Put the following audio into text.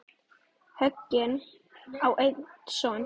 Högni á einn son.